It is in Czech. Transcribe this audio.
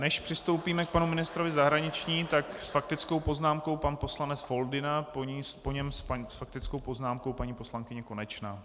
Než přistoupíme k panu ministrovi zahraničí, tak s faktickou poznámkou pan poslanec Foldyna, po něm s faktickou poznámkou paní poslankyně Konečná.